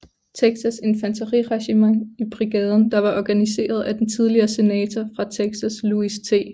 Texas infanteriregiment i brigaden der var organiseret af den tidligere senator fra Texas Louis T